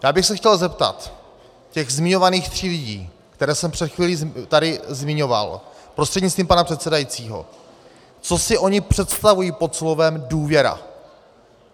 Já bych se chtěl zeptat těch zmiňovaných tří lidí, které jsem před chvílí tady zmiňoval, prostřednictvím pana předsedajícího, co si oni představují pod slovem důvěra.